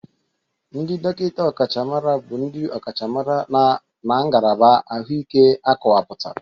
Ndị dọkịta ọkachamara bụ ndị ọkachamara na ngalaba ahụike akọwapụtara.